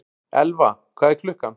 Elfa, hvað er klukkan?